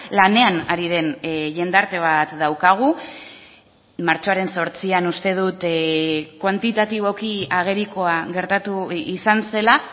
lanean ari den jendarte bat daukagu martxoaren zortzian uste dut kuantitatiboki agerikoa gertatu izan zela